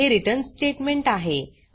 हे return statement आहे